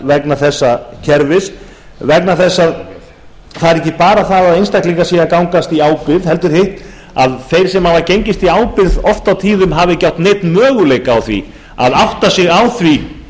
vegna þessa kerfis vegna þess að það er ekki bara það að einstaklingar séu að gangast í ábyrgð heldur hitt að þeir sem hafa gengist í ábyrgð oft á tíðum hafa ekki átt neinn möguleika á því að átta sig á því